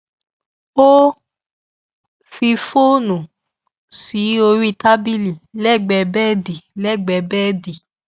ó fi fóònù sí orí tábìlì lẹgbẹẹ bẹẹdì lẹgbẹẹ bẹẹdì